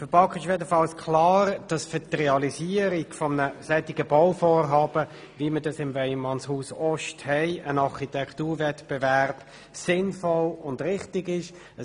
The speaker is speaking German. Der BaK ist klar, dass zur Realisierung eines Bauvorhabens, wie es in Weyermannshaus-Ost vorliegt, ein Architekturwettbewerb sinnvoll und richtig ist.